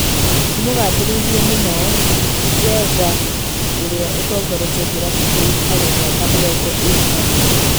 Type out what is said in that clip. Nĩamũgathĩrĩirie mũno ona Njenga ũrĩa ũtongoretie kĩrabu kĩu harĩ mĩaka mĩrongo ĩrĩ na ĩrĩ.